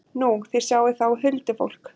Nú, þið sjáið þá huldufólk?